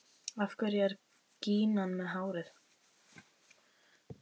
Af hverju er gínan með hár?